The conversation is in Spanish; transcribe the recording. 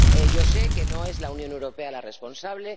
Yo sé que no es la Unión Europea la responsable.